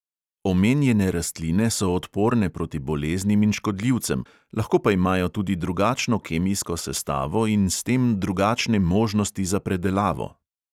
Omenjene rastline so odporne proti boleznim in škodljivcem, lahko pa imajo tudi drugačno kemijsko sestavo in s tem drugačne možnosti za predelavo.